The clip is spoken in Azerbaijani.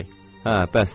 Hə, bəsdir.